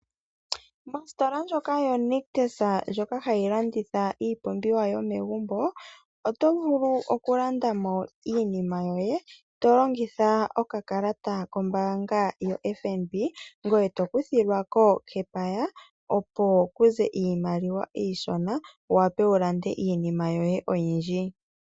Mpsitola ndjoka yo Nictus ndjoka hayi landitha iipumbiwa yo megumbo, oto vulu okulandamo iinima yote to longitha okakalata kombaanga yo FNB, ngoye to kuthilwako epaya. Opo ku ze iimaliwa iishona wu wape wu lande iinima yoye oyindji.